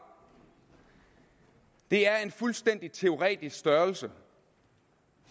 det er en fuldstændig teoretisk størrelse